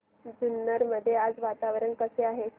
जुन्नर मध्ये आज वातावरण कसे आहे